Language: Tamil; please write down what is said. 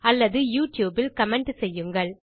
அல்லது யூட்யூப் இல் கமென்ட் செய்யுங்கள்